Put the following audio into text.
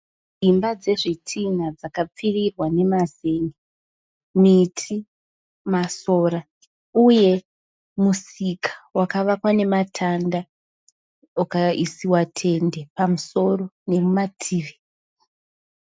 Imba dzezvitinha dzakapfirirwa nemazen'e. Miti, masora, uye musika wakavakwa nematanda ukaisiwa tende pamusoro nemumativi.